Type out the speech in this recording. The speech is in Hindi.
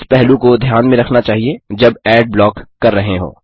इस पहलू को ध्यान में रखना चाहिए जब एड ब्लॉक कर रहे हों